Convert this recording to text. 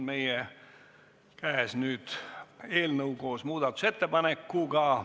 Meie käes on nüüd eelnõu koos muudatusettepanekuga.